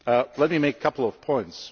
Let me make a couple of points.